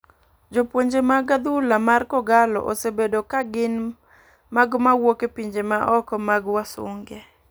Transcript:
Jopuonje mag adhula mar kogallo osebedo ka gin mago mawuok e pinje ma oko mag wasunge.